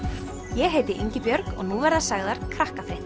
ég heiti Ingibjörg og nú verða sagðar